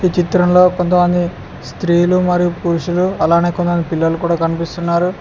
ఈ చిత్రంలో కొంతమంది స్త్రీలు మరియు పురుషులు అలానే కొంతమంది పిల్లలు కూడా కనిపిస్తున్నారు.